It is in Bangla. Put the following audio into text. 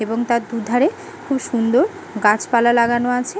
এবং তার দু ধারে খুব সুন্দর গাছপালা লাগানো আছে-এ ।